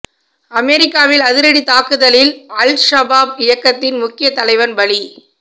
அமெரிக்காவின் அதிரடி தாக்குதலில் அல் ஷபாப் இயக்கத்தின் முக்கியத் தலைவன் பலி